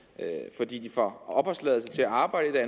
fordi de får opholdstilladelse til at arbejde